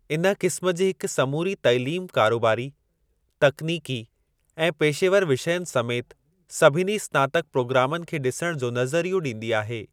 इन क़िस्म जी हिक समूरी तालीम कारोबारी, तकनीकी ऐं पेशेवर विषयनि समेति सभिनी स्नातक प्रोग्रामनि खे ॾिसण जो नज़रियो ॾींदी आहे।